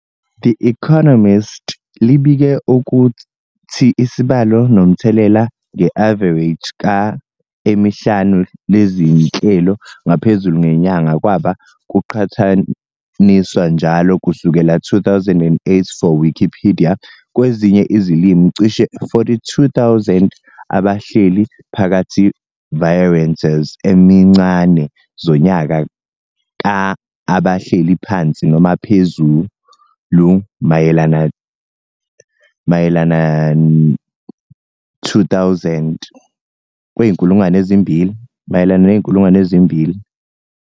The Economist libike ukuthi isibalo nomthelela nge-avareji ka emihlanu lezinhlelo ngaphezulu ngenyanga kwaba kuqhathaniswa njalo kusukela 2008 for Wikipedia kwezinye izilimi cishe 42,000 abahleli phakathi variances emincane zonyaka ka abahleli phansi noma phezulu mayelana 2,000.